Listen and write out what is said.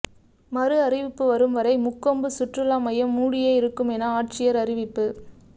மறுஅறிவிப்பு வரும் வரை முக்கொம்பு சுற்றுலா மையம் மூடியே இருக்கும் என ஆட்சியர் அறிவிப்பு